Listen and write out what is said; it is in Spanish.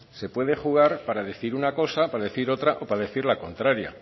se puede jugar para decir una cosa para decir otra o para decir la contraria